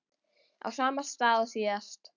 Á sama stað og síðast.